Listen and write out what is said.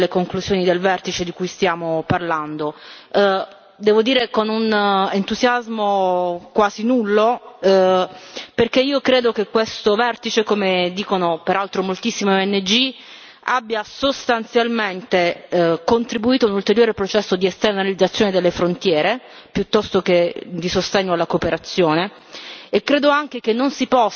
Provo a intervenire nel merito delle conclusioni del vertice di cui stiamo parlando, devo dire con un entusiasmo quasi nullo, perché io credo che questo vertice, come dicono peraltro moltissime ONG, abbia sostanzialmente contribuito a un ulteriore processo di esternalizzazione delle frontiere, piuttosto che di sostegno alla cooperazione,